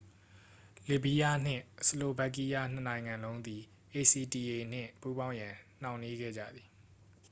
လတ်ဗီးယားနှင့် ဆလိုဗက်ကီးယား နှစ်နိုင်ငံလုံးသည် acta နှင့် ပူးပေါင်းရန် နှောင့်နှေးခဲ့ကြသည်